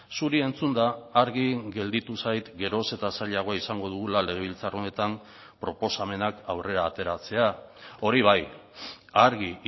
zuri entzunda argi gelditu zait geroz eta zailagoa izango dugula legebiltzar honetan proposamenak aurrera ateratzea hori bai argi